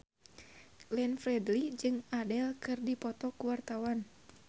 Glenn Fredly jeung Adele keur dipoto ku wartawan